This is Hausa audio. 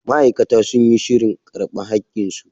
Ma'aikata sun yi shirin karba hakin su.